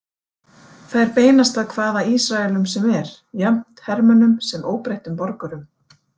Þær beinast að hvaða Ísraelum sem er, jafnt hermönnum sem óbreyttum borgurum.